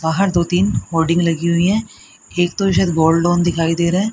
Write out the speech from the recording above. बाहर दो तीन होल्डिंग लगी हुई है एक तो शायद गोल्ड लोन दिखाई दे रहा--